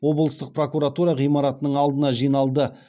облыстық прокуратура ғимаратының алдына жиналды